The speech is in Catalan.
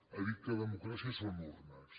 ha dit que democràcia són urnes